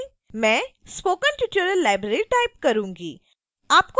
मैं spoken tutorial library type करूंगी